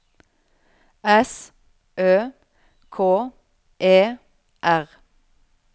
S Ø K E R